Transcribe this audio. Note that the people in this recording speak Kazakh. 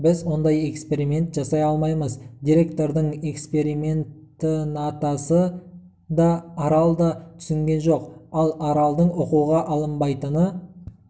біз ондай эксперимент жасай алмаймыз директордың экспериментінатасы да арал да түсінген жоқ ал аралдың оқуға алынбайтыны